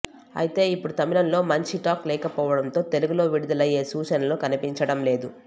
అయితే ఇప్పుడు తమిళంలో మంచి టాక్ లేకపోవడంతో తెలుగులో విడుదలయ్యే సూచనలు కనిపించడంలేదు